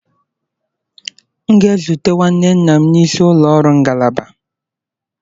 M ga-ezute nwanne nna m n'isi ụlọ ọrụ ngalaba